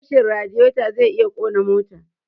Rashin radiyeto zai iya kona mota